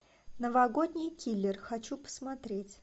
новогодний киллер хочу посмотреть